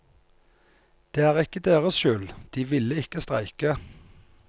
Det er ikke deres skyld, de ville ikke streike.